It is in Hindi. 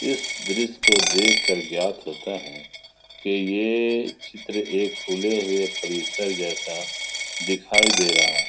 इस देश को देखकर ज्ञात होता है कि यह चित्र एक खुले हुए परिसर जैसा दिखाई दे रहा है।